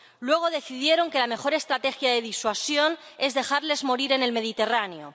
Luego decidieron que la mejor estrategia de disuasión es dejarles morir en el Mediterráneo.